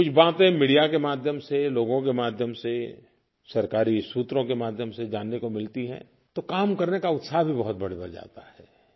कुछ बातें मीडिया के माध्यम से लोगों के माध्यम से सरकारी सूत्रों के माध्यम से जानने को मिलती हैं तो काम करने का उत्साह भी बहुत बढ़ जाता है